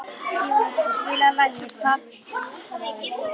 Tímóteus, spilaðu lagið „Fatlafól“.